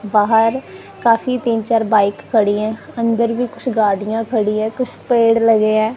बाहर काफी तीन चार बाइक खड़ी है। अंदर भी कुछ गाड़ियां खड़ी है कुछ पेड़ लगे है।